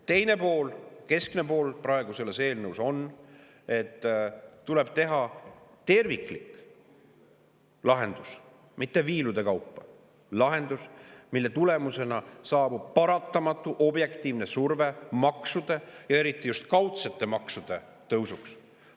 Teine pool, keskne pool praegu selles eelnõus on see, et tuleb teha terviklik lahendus, mitte viilude kaupa lahendus, mille tulemusena saabub paratamatu objektiivne surve maksude, eriti just kaudsete maksude tõusuks.